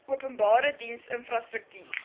openbare diens infrastruktuur